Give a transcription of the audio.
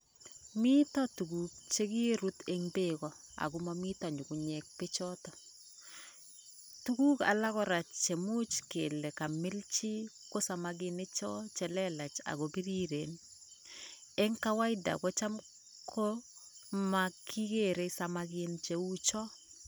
Mito tuguuk chekirut eng beeko ako mamito ngungunyek beecheto, tuuguk kora chemuch kele kamil chii ko samakinik cho che lelach ako piriren, ako kawaida kokocham makikerei samakin cheu cho.